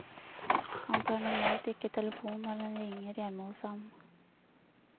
Han tar normalt ikke telefonen når den ringer hjemme hos ham.